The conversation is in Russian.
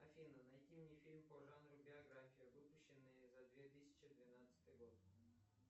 афина найди мне фильм по жанру биография выпущенный за две тысячи двенадцатый год